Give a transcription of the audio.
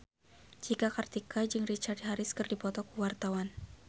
Cika Kartika jeung Richard Harris keur dipoto ku wartawan